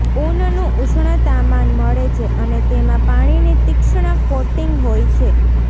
ઊનનું ઉષ્ણતામાન મળે છે અને તેમાં પાણીની તીક્ષ્ણ કોટિંગ હોય છે